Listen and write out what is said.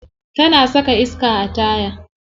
Tana saka iska a taya.